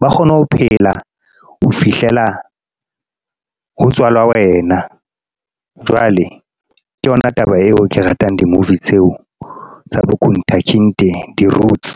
ba kgone ho phela ho fihlela ho tswalwa wena. Jwale ke yona taba eo ke ratang di-movie tseo tsa di routes.